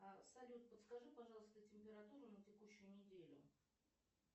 салют подскажи пожалуйста температуру на текущую неделю